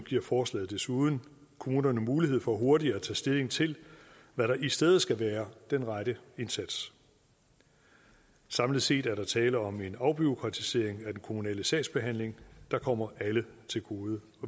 giver forslaget desuden kommunerne mulighed for hurtigt at tage stilling til hvad der i stedet skal være den rette indsats samlet set er der tale om en afbureaukratisering af den kommunale sagsbehandling der kommer alle til gode